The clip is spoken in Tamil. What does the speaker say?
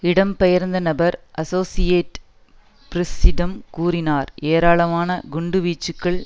இடம் பெயர்ந்த நபர் அசோசியேட்டட் பிரஸ்ஸிடம் கூறினார் ஏராளமாள குண்டுவீச்சுக்கள்